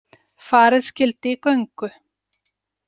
Farið skyldi í göngu.